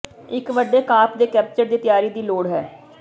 ਇੱਕ ਵੱਡੇ ਕਾਰਪ ਦੇ ਕੈਪਚਰ ਦੀ ਤਿਆਰੀ ਦੀ ਲੋੜ ਹੈ